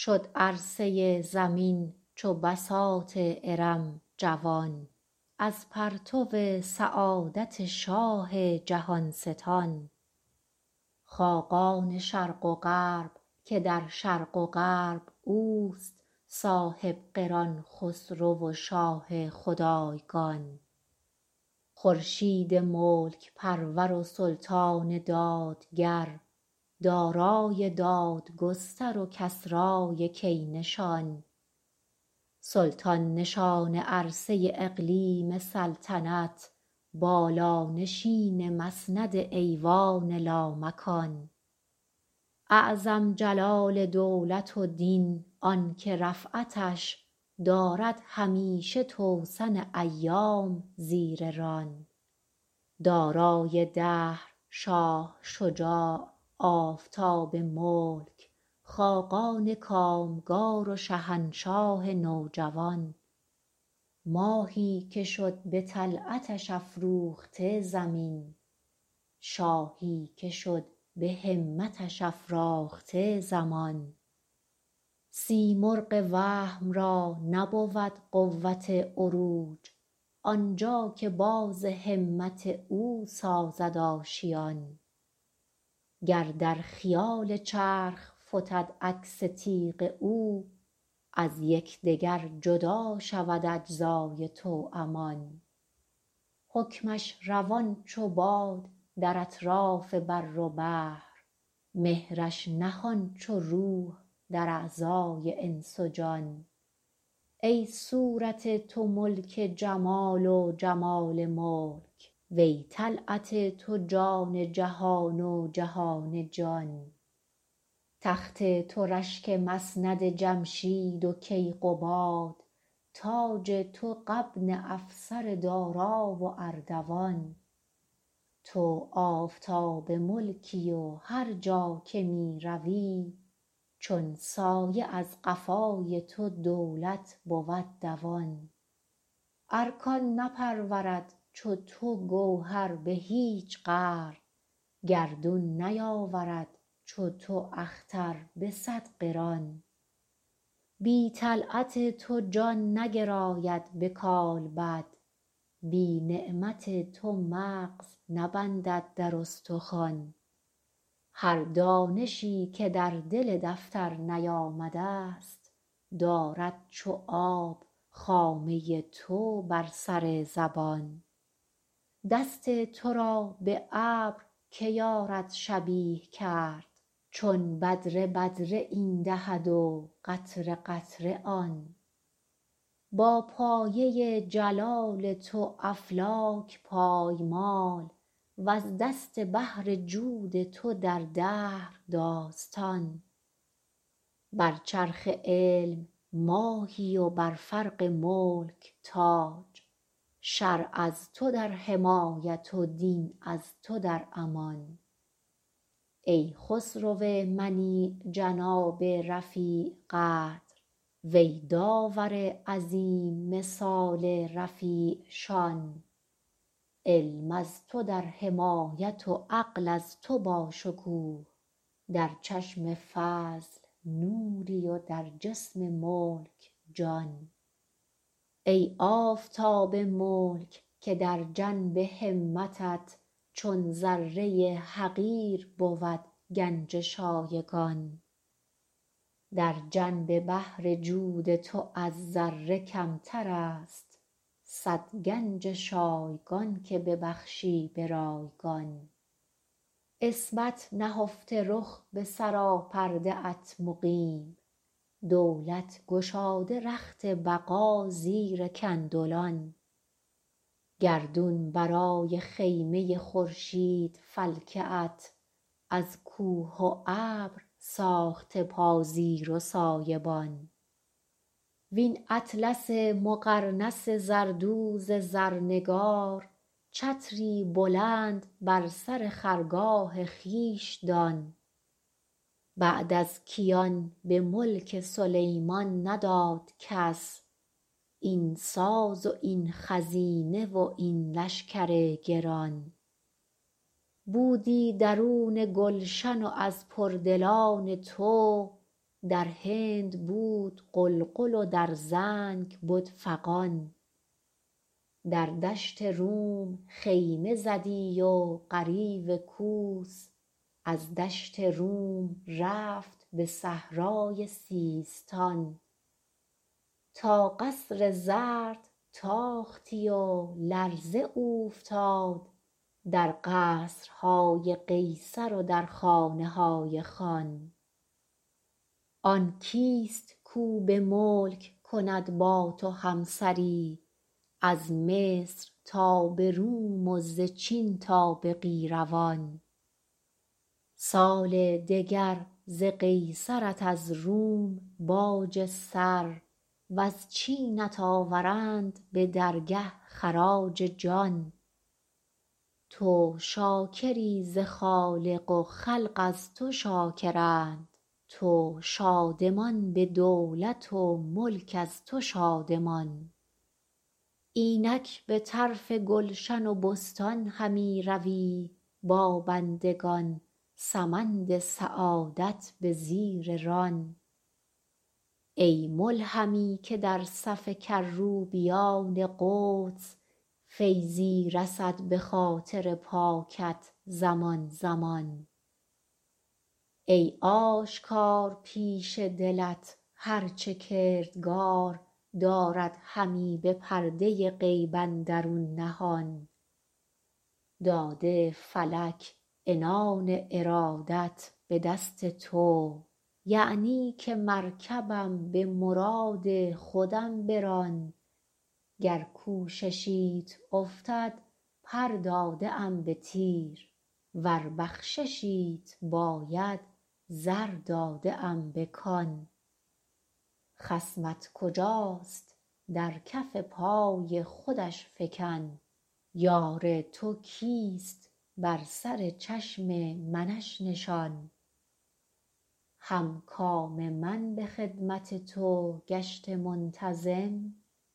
شد عرصه زمین چو بساط ارم جوان از پرتو سعادت شاه جهان ستان خاقان شرق و غرب که در شرق و غرب اوست صاحب قران خسرو و شاه خدایگان خورشید ملک پرور و سلطان دادگر دارای دادگستر و کسرای کی نشان سلطان نشان عرصه اقلیم سلطنت بالانشین مسند ایوان لامکان اعظم جلال دولت و دین آنکه رفعتش دارد همیشه توسن ایام زیر ران دارای دهر شاه شجاع آفتاب ملک خاقان کامگار و شهنشاه نوجوان ماهی که شد به طلعتش افروخته زمین شاهی که شد به همتش افراخته زمان سیمرغ وهم را نبود قوت عروج آنجا که باز همت او سازد آشیان گر در خیال چرخ فتد عکس تیغ او از یکدگر جدا شود اجزای توأمان حکمش روان چو باد در اطراف بر و بحر مهرش نهان چو روح در اعضای انس و جان ای صورت تو ملک جمال و جمال ملک وی طلعت تو جان جهان و جهان جان تخت تو رشک مسند جمشید و کیقباد تاج تو غبن افسر دارا و اردوان تو آفتاب ملکی و هر جا که می روی چون سایه از قفای تو دولت بود دوان ارکان نپرورد چو تو گوهر به هیچ قرن گردون نیاورد چو تو اختر به صد قران بی طلعت تو جان نگراید به کالبد بی نعمت تو مغز نبندد در استخوان هر دانشی که در دل دفتر نیامده ست دارد چو آب خامه تو بر سر زبان دست تو را به ابر که یارد شبیه کرد چون بدره بدره این دهد و قطره قطره آن با پایه جلال تو افلاک پایمال وز دست بحر جود تو در دهر داستان بر چرخ علم ماهی و بر فرق ملک تاج شرع از تو در حمایت و دین از تو در امان ای خسرو منیع جناب رفیع قدر وی داور عظیم مثال رفیع شان علم از تو در حمایت و عقل از تو با شکوه در چشم فضل نوری و در جسم ملک جان ای آفتاب ملک که در جنب همتت چون ذره حقیر بود گنج شایگان در جنب بحر جود تو از ذره کمتر است صد گنج شایگان که ببخشی به رایگان عصمت نهفته رخ به سراپرده ات مقیم دولت گشاده رخت بقا زیر کندلان گردون برای خیمه خورشید فلکه ات از کوه و ابر ساخته پازیر و سایه بان وین اطلس مقرنس زردوز زرنگار چتری بلند بر سر خرگاه خویش دان بعد از کیان به ملک سلیمان نداد کس این ساز و این خزینه و این لشکر گران بودی درون گلشن و از پردلان تو در هند بود غلغل و در زنگ بد فغان در دشت روم خیمه زدی و غریو کوس از دشت روم رفت به صحرای سیستان تا قصر زرد تاختی و لرزه اوفتاد در قصرهای قیصر و در خانهای خان آن کیست کاو به ملک کند با تو همسری از مصر تا به روم و ز چین تا به قیروان سال دگر ز قیصرت از روم باج سر وز چینت آورند به درگه خراج جان تو شاکری ز خالق و خلق از تو شاکرند تو شادمان به دولت و ملک از تو شادمان اینک به طرف گلشن و بستان همی روی با بندگان سمند سعادت به زیر ران ای ملهمی که در صف کروبیان قدس فیضی رسد به خاطر پاکت زمان زمان ای آشکار پیش دلت هر چه کردگار دارد همی به پرده غیب اندرون نهان داده فلک عنان ارادت به دست تو یعنی که مرکبم به مراد خودم بران گر کوششیت افتد پر داده ام به تیر ور بخششیت باید زر داده ام به کان خصمت کجاست در کف پای خودش فکن یار تو کیست بر سر چشم منش نشان هم کام من به خدمت تو گشته منتظم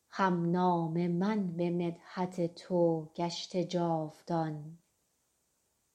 هم نام من به مدحت تو گشته جاودان